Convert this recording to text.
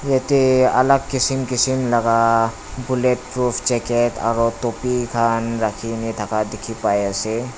yate alag kism kism laga bullet proof jacket aru topi khan rakhi ne thaka dikhi pa ase.